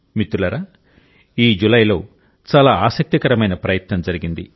మిత్రులారా ఈ జూలైలో చాలా ఆసక్తికరమైన ప్రయత్నం జరిగింది